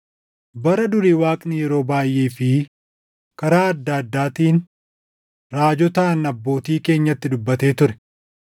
Bara durii Waaqni yeroo baayʼee fi karaa adda addaatiin raajotaan abbootii keenyatti dubbatee ture;